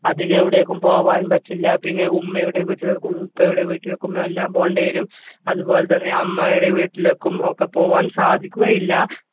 അധികം എവിടേക്കും പോവാനും പറ്റില്ല പിന്നെ ഉമ്മയുടെ വീട്ടിൽക്കും ഉപ്പയുടെ വീട്ടിലേക്കും എല്ലാം പോണ്ടിവരും അതുപോലെതന്നെ അമ്മായിടെ വീട്ടിലേക്കും ഒക്കെ പോകാൻ സാധിക്കുകയില്ല